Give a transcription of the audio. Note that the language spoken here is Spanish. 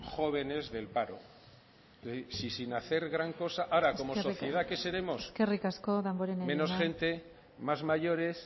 jóvenes del paro sin hacer gran cosa ahora como sociedad qué seremos menos gente más mayores